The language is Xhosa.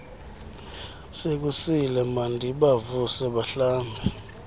sekusile mandibavuse bahlambe